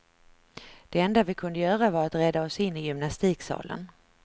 Det enda vi kunde göra var att rädda oss in i gymnastiksalen.